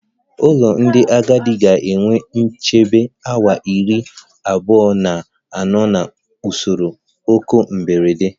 Ụlọ ndị agadi ga-enwe nchebe awa iri abuo na ano na usoro oku mberede